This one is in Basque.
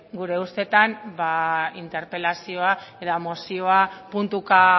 gure ustetan ba interpelazioa eta mozioa puntuka